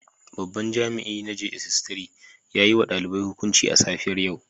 Babban jami'in na jss 3 ya yiwa yh hukunci a safiyar yau